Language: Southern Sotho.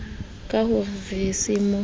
ka ho re se mo